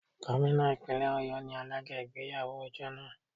Gómìnà Ìpínlẹ̀ Ọ̀yọ́ ni alága ìgbéyàwó ọjọ́ náà.